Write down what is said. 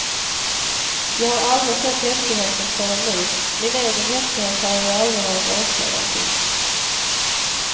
Jag har aldrig sett häftigheten förrän nu, min egen häftighet har jag ju aldrig varit åskådare till.